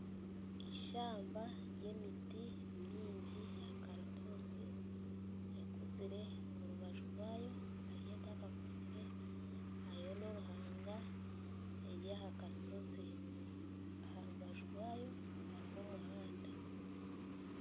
Ishamba ry'emiti mingi eya karututsi ekuzire omu rubaju rwayo hariyo etakakizire hariyo noruhanga eryaha kashozi aharubaju rwayo hariho omuhanda